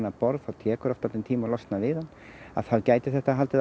borð þá tekur oft dálítinn tíma að losna við hann þá geti þetta haldið